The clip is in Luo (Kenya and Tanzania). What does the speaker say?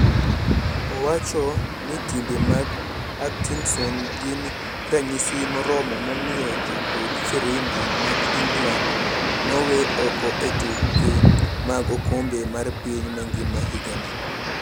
Owacho ni timbe mag Atkinson gin ranyisi moromo momiyo jokudh firimbi mag England no wee oko e tuke mag okombe mar piny mangima higani.